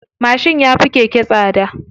Mashin ya fi keke tsada.